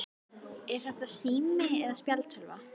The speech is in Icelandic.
Er þetta sími eða spjaldtölva?